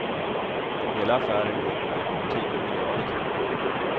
Hela affären går på bortåt tio miljarder kronor.